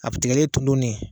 Abi tigɛlen ton ron de.